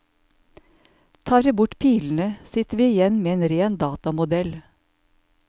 Tar vi bort pilene sitter vi igjen med en ren datamodell.